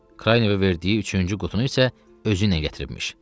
Kranyeva verdiyi üçüncü qutunu isə özü ilə gətiribmiş.